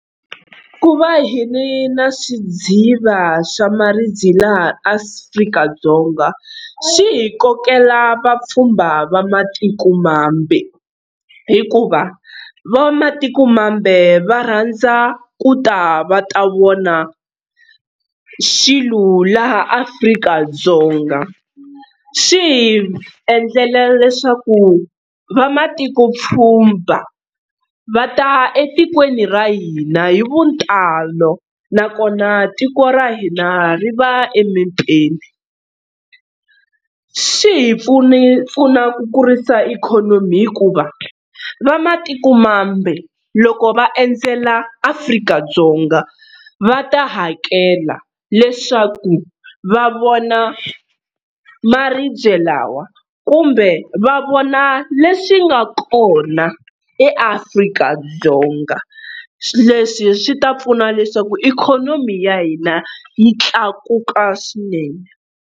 Ku va hi ri na swidziva swa maribye laha Afrika-Dzonga swi hi kokela vapfhumba va matikomambe, hikuva va matikomambe va rhandza ku ta va ta vona swilo laha Afrika-Dzonga. Swi hi endlela leswaku va matiko pfhumba va ta etikweni ra hina hi vutalo nakona tiko ra hina ri va emepeni. Swi hi pfune pfuna ku kurisa ikhonomi hikuva va matikomambe loko va endzela Afrika-Dzonga va ta hakela leswaku va vona maribye lawa kumbe va vona leswi nga kona eAfrika-Dzonga. Leswi swi ta pfuna leswaku ikhonomi ya hina yi tlakuka swinene.